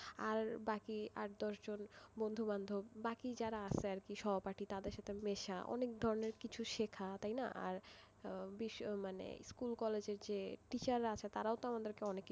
আর বাকি আর দশজন বন্ধু বান্ধব বাকি যারা আছে আরকি সহপাঠী তাদের সাথে মেশা, অনেক ধরনের কিছু শেখা তাই না, আর মানে স্কুল কলেজের যে টিচার আছে তারাও তো আমাদেরকে অনেক কিছু,